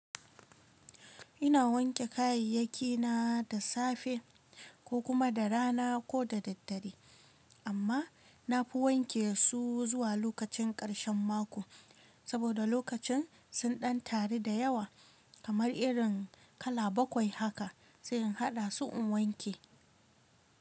Ina wanke kayayyakina da safe, ko kuma da rana ko da daddare, amma. Nafi wanke su zuwa lokacin karshen mako, saboda lokacin sun ɗan taru da yawa. Kamar irin kala bakwai haka, sai in haɗa su in wanke.